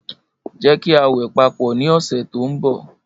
Jẹ ki a wẹ papọ ni ọsẹ to nbo.